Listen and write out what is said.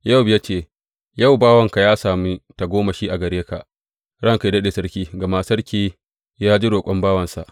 Yowab ya ce, Yau, bawanka ya sani ya sami tagomashi a gare ka, ranka yă daɗe sarki, gama sarki ya ji roƙon bawansa.